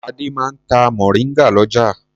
Adé máa ń ta mòríngà lọ́jà.